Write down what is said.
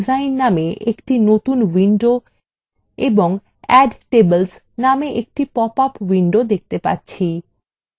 আমরা view design নামে একটি নতুন window এবং add tables নামে একটি পপআপ window দেখতে পাচ্ছি